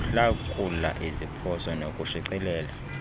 ukuhlakula iziphoso nokushicilela